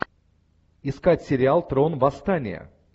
искать сериал трон восстания